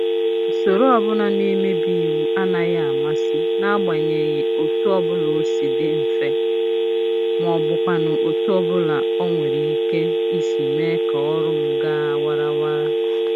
Usoro ọbụla na-emebi iwu anaghị amasị n'agbanyeghị otu ọbụla o si dị mfe, maọbụkwanụ otu ọbụla o nwere ike isi mee ka ọrụ m ga warawara